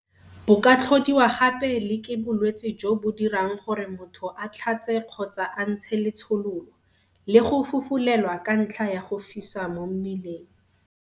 Bo ka tlhodiwa gape le ke bolwetse jo bo dirang gore motho a tlhatse kgotsa a ntshe letshololo, le go fufulelwa ka ntlha ya go fisa mo mmeleng.